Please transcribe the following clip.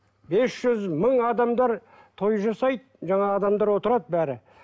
бес жүз мың адамдар той жасайды жаңағы адамдар отырады бәрі